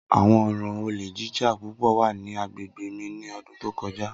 Awọn ọran ole jija pupọ wa ni agbegbe mi ni ọdun to kọja.